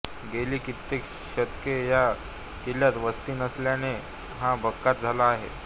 गेली कित्येक शतके ह्या किल्यात वस्ती नसल्याने हा भकास झाला आहे